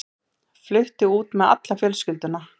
Flutti út með alla fjölskylduna.